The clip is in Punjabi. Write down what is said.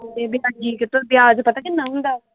ਇਹ ਵਿਆਜੀ ਵਿਆਜ ਪਤਾ ਕਿੰਨਾ ਹੁੰਦਾ?